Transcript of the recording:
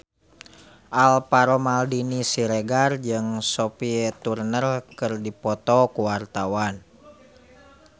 Alvaro Maldini Siregar jeung Sophie Turner keur dipoto ku wartawan